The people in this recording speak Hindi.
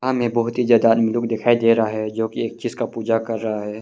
हमें बहुत ही ज्यादा आदमी लोग दिखाई दे रहा है जोकि एक चीज का पूजा कर रहा है।